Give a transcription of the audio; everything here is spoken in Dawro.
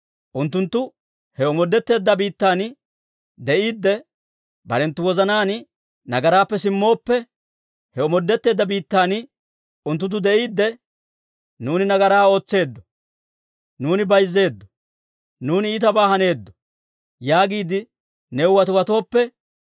unttunttu he omoodetteedda biittan de'iidde, barenttu wozanaan nagaraappe simmooppe, he omoodetteedda biittan unttunttu de'iidde, ‹Nuuni nagaraa ootseeddo; nuuni bayzzeeddo; nuuni iitabaa haneeddo› yaagiide new watiwatooppe,